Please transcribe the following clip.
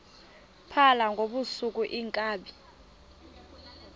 phala ngobusuku iinkabi